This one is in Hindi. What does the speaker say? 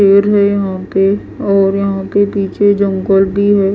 पेड़ है यहां पे और यहां पे पीछे जंगल भी है।